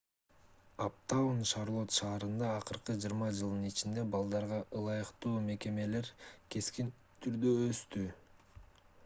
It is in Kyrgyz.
аптаун шарлот шаарында акыркы 20 жылдын ичинде балдарга ылайыктуу мекемелер кескин түрдө өстү